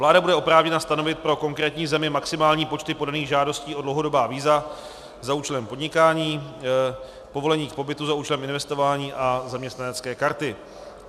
Vláda bude oprávněna stanovit pro konkrétní zemi maximální počty podaných žádostí o dlouhodobá víza za účelem podnikání, povolení k pobytu za účelem investování a zaměstnanecké karty.